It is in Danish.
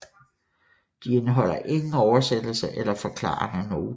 De indeholder ingen oversættelser eller forklarende noter